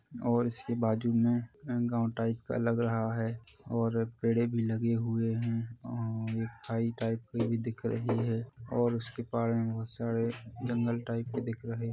और इसके बाजू मे एक गाँव टाइप का लग रहा है और पेड़े भी लगे हुए है और अ खाई टाइप की भी दिख रही है और उसके पार बहोत सारे एक जंगल टाइप के दिख रहे--